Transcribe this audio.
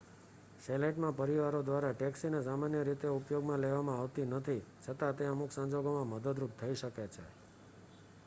chalet માં પરિવારો દ્વારા ટેક્સી ને સામાન્ય રીતે ઉપયોગમાં લેવામાં આવતી નથી છતાં તે અમુક સંજોગોમાં મદદરૂપ થઈ શકે છે